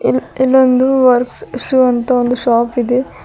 ಇಲ್ಲೊಂದು works shoe ಅಂತ ಒಂದು ಶಾಪ್ ಇದೆ.